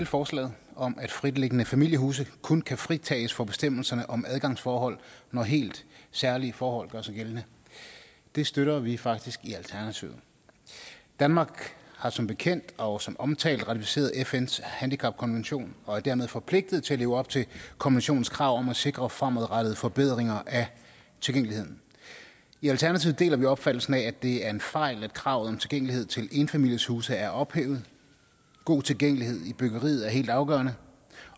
forslaget om at fritliggende familiehuse kun kan fritages for bestemmelserne om adgangsforhold når helt særlige forhold gør sig gældende det støtter vi faktisk i alternativet danmark har som bekendt og som omtalt ratificeret fns handicapkonvention og er dermed forpligtet til at leve op til konventionens krav om at sikre fremadrettede forbedringer af tilgængeligheden i alternativet deler vi opfattelsen af at det er en fejl at kravet om tilgængelighed til enfamilieshuse er ophævet god tilgængelighed i byggeriet er helt afgørende